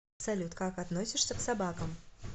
салют как относишься к собакам